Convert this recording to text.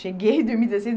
Cheguei e dormi dezesseis